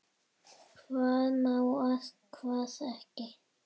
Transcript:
Hvað má og hvað ekki.